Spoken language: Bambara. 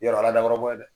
Yɔrɔ a dabɔra bon ye dɛ